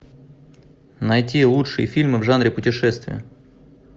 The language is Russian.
найти лучшие фильмы в жанре путешествия